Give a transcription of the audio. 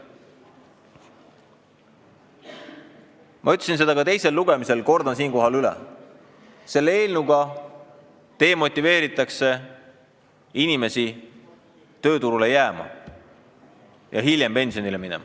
Ma ütlesin seda teisel lugemisel ja kordan siinkohal üle: selle eelnõuga vähendatakse inimeste motivatsiooni tööturule jääda ja hiljem pensionile minna.